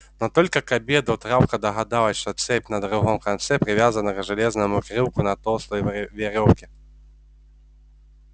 но только к обеду травка догадалась что цепь на другом конце привязана к железному крюку на толстой верёвке